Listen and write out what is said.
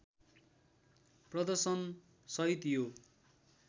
प्रर्दशन सहित यो